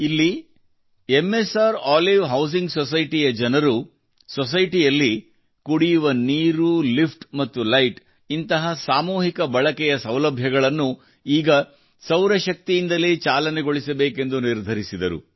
ಇಲ್ಲಿ ಮ್ಸ್ರೋಲಿವ್ housing society ಯ ಜನರು ಸೊಸೈಟಿಯಲ್ಲಿ ಕುಡಿಯುವ ನೀರು ಲಿಫ್ಟ್ ಮತ್ತು ಲೈಟ್ ನಂತಹ ಸಾಮೂಹಿಕ ಬಳಕೆಯ ವಸ್ತುಗಳನ್ನು ಈಗ ಸೌರ ಶಕ್ತಿಯಿಂದಲೇ ಚಾಲನೆಗೊಳಿಸಬೇಕೆಂದು ನಿರ್ಧರಿಸಿದರು